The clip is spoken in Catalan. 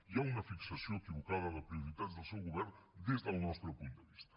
hi ha una fixació equivocada de prioritats del seu govern des del nostre punt de vista